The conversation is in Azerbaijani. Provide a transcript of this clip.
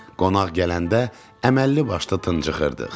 Qonaq gələndə əməlli başlı tıınçıxırdıq.